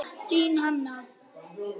Þín Hanna.